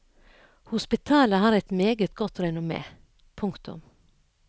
Hospitalet har et meget godt renommé. punktum